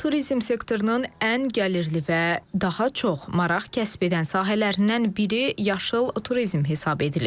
Turizm sektorunun ən gəlirli və daha çox maraq kəsb edən sahələrindən biri yaşıl turizm hesab edilir.